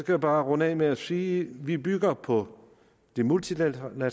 jeg bare runde af med at sige vi bygger på det multilaterale